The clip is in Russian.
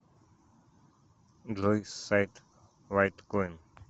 джой сайт лайткоин